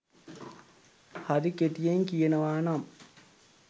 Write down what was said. හරි කෙටියෙන් කියනවා නම්